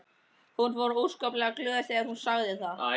Hún var óskaplega glöð þegar hún sagði það.